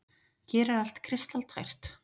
Hér er allt kristaltært.